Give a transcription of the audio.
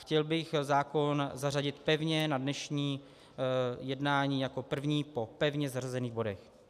Chtěl bych zákon zařadit pevně na dnešní jednání jako první po pevně zařazených bodech.